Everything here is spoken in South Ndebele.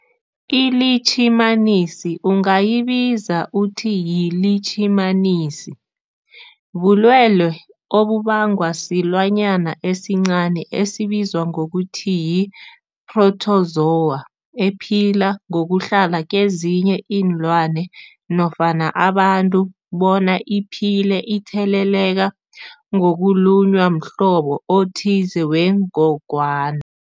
ILitjhimanisi ungayibiza uthi yilitjhimanisi, bulwelwe obubangwa silwanyana esincani esibizwa ngokuthi yi-phrotozowa ephila ngokuhlala kezinye iinlwana nofana abantu, bona iphile itheleleka ngokulunywa mhlobo othize wengogwana.